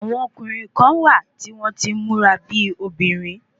Àwọn ọkùnrin kán wà tí wọ́n tí ń múra bíi obìnrin